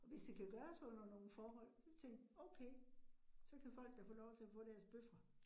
Og hvis det kan gøres under nogle forhold til okay, så kan folk da få lov til at få deres bøffer